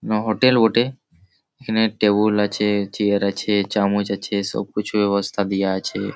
কুনো হোটেল বটে। এই খানে টেবুল আছে চিয়ার আছে চামচ আছে সব কুছু ব্যবস্থা দিয়া আছে--